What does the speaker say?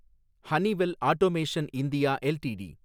Honeywell automation India LTD